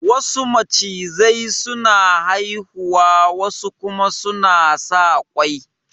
Wasu macizai su na haihuwa wa su kuma suna saka ƙwai